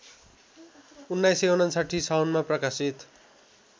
१९५९ साउनमा प्रकाशित